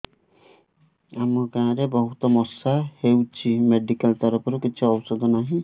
ଆମ ଗାଁ ରେ ବହୁତ ମଶା ହଉଚି ମେଡିକାଲ ତରଫରୁ କିଛି ଔଷଧ ନାହିଁ